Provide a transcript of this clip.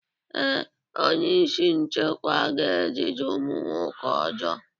Ee, onye isi nchekwa ga-ejide ụmụ nwoke ọjọọ.